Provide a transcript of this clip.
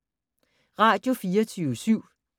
Radio24syv